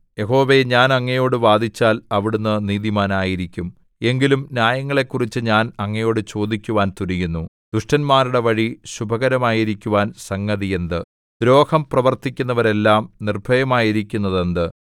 യഹോവേ ഞാൻ അങ്ങയോടു വാദിച്ചാൽ അവിടുന്ന് നീതിമാനായിരിക്കും എങ്കിലും ന്യായങ്ങളെക്കുറിച്ച് ഞാൻ അങ്ങയോട് ചോദിക്കുവാൻ തുനിയുന്നു ദുഷ്ടന്മാരുടെ വഴി ശുഭമായിരിക്കുവാൻ സംഗതി എന്ത് ദ്രോഹം പ്രവർത്തിക്കുന്നവരെല്ലാം നിർഭയരായിരിക്കുന്നതെന്ത്